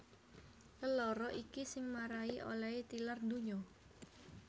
Lelara iki sing marai olèhé tilar donya